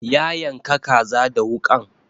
Ya yanka kaza da wuƙan